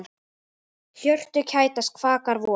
Hjörtu kætast, kvakar vor.